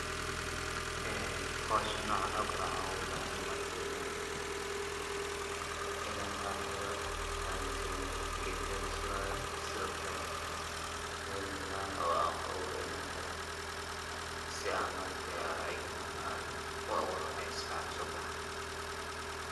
Ee hawshan noocan oo kala waxaan ogu bahanyahy ma arkino ina aan helo inan sameyo geedka lasuraayo sidokale mel banaan oo aan ku abuuro inaan helo si aa ma aragtay ay ayagana aan u abuuro ay si fican u so baxaan.